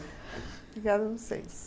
Obrigada a vocês.